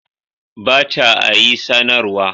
Ba ta a yi sanarwa.